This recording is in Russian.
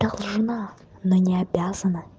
должна но не обязана